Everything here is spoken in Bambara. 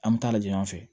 An bɛ taa lajɛ yan fɛ